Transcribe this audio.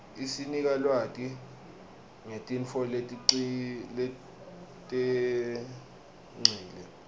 isinika lwati ngetintfo letengcile